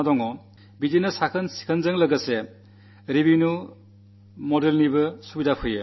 അതേപോലെ ശുചിത്വം അതിനൊരു റവന്യൂ മോഡലും ആനിവാര്യമാണ്